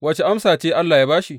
Wace amsa ce Allah ya ba shi?